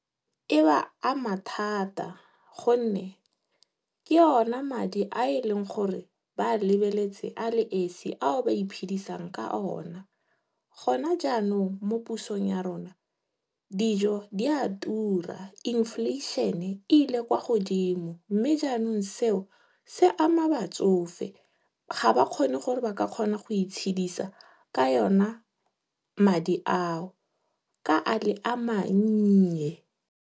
E ba ama thata gonne ke ona madi a e leng gore ba a lebeletse a le esi ao ba iphidisang ka ona. Gona jaanong, mo pusong ya rona, dijo di a tura. Inflation-e ile kwa godimo mme jaanong seo se ama batsofe. Ga ba kgone gore ba ka kgona go itshedisa ka ona madi ao ka e le a mannye.